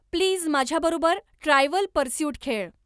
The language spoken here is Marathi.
प्लीज माझ्याबरोबर ट्रायव्हल पर्स्यूट खेळ